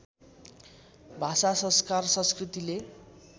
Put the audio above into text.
भाषा संस्कार संस्कृतिले